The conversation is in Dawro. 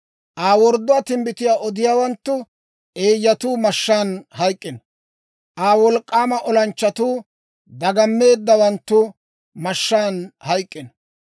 «Aa wordduwaa timbbitiyaa odiyaawanttu, eeyyatuu mashshaan hayk'k'ino! «Aa wolk'k'aama olanchchatuu, dagammeeddawanttu mashshaan hayk'k'ino!